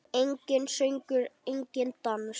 Enginn söngur, enginn dans.